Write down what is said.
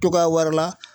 Togoya wɛrɛ la